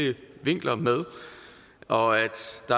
vinkler med og